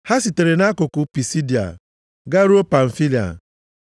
Ha sitere nʼakụkụ Pisidia garuo Pamfilia.